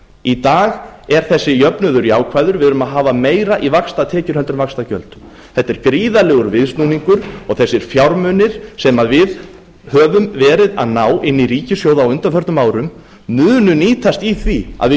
í dag er þessi jöfnuður jákvæður við erum að hafa meira í vaxtatekjur heldur en í vaxtagjöld þetta er gríðarlegur viðsnúningur og þessir fjármunir sem við höfum verið að ná inn í ríkissjóð á undanförnum árum munu nýtast í því að við